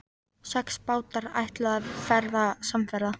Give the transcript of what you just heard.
Sex bátar ætluðu að verða samferða.